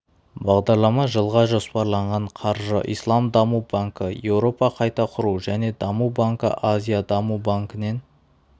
бағдарлама жылға жоспарланған қаржы ислам даму банкі еуропа қайта құру және даму банкі азия даму банкінен